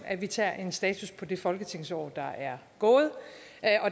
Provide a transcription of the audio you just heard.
at vi tager en status på det folketingsår der er gået